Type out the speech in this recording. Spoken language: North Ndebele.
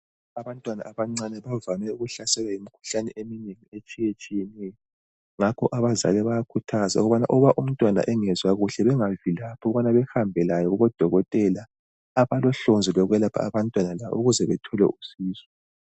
Abantwana abancane bavame ukuhlaselwa yimikhuhlane eminengi etshiyetshiyeneyo ngakho abazali bayakhuthazwa ukubana umntwana engezwa kuhle bengavilaphi ukubana behambe laye kubodokotela abalohlonzi lokwelapha abantwana la ukuze bethole usizo.